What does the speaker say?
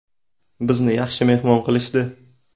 Bizni yaxshi mehmon qilishdi.